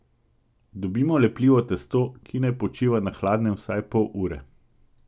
Dobimo lepljivo testo, ki naj počiva na hladnem vsaj pol ure.